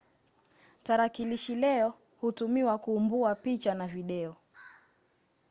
tarakilishi leo hutumiwa kuumbua picha na video